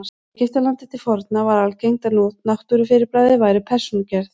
Í Egyptalandi til forna var algengt að náttúrufyrirbæri væru persónugerð.